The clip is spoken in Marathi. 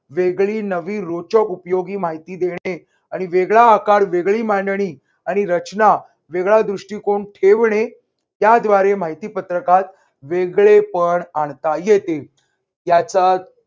वेगळी नवीन रुचक उपयोगी माहिती देणे आणि वेगळा आकार वेगळी मांडणी आणि रचना वेगळा दृष्टिकोन ठेवणे त्याद्वारे माहितीपत्रकात वेगळेपण आणता येते. त्याचा